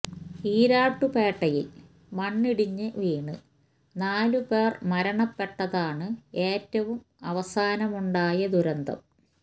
ഇരാറ്റുപേട്ടയില് മണ്ണിടിഞ്ഞ് വീണ് നാല് പേര് മരണപ്പെട്ടതാണ് ഏറ്റവും അവസാനമുണ്ടായ ദുരന്തം